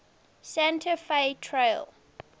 santa fe trail